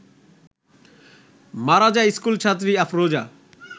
মারা যায় স্কুলছাত্রী আফরোজা